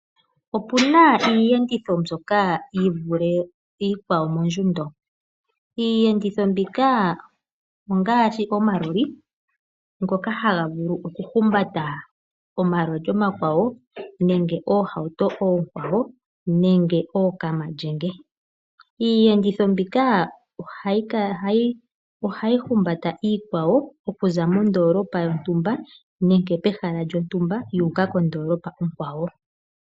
Opuna iiyenditho mbyoka yi vule iikwawo mondjundo. Iiyenditho mbika ongaashi omaloli ngoka haga vulu oku humbata omaloli omakwawo nenge oohauto oonkwawo nenge ookamalyenge. Iiyenditho mbika ohayi humbata iikwawo okuza mondoolopa yontumba nenge pehala lyontumba yu uka kondoolopa onkwawo.